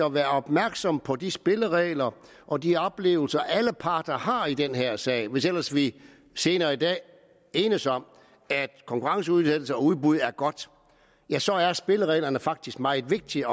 at være opmærksom på de spilleregler der og de oplevelser alle parter har i den her sag hvis ellers vi senere i dag enes om at konkurrenceudsættelse og udbud er godt ja så er spillereglerne faktisk meget vigtige